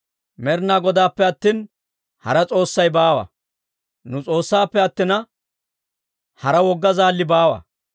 Med'inaa Godaappe attina, hara s'oossi baawa; Nu S'oossaappe attina, hara wogga zaalli baawa.